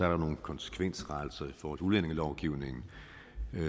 der nogle konsekvensrettelser i forhold til udlændingelovgivningen